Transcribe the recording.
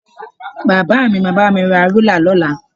Bàbá mi máa bá mi ra rúlà lọ́la